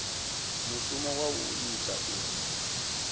mushumo wa u ita uri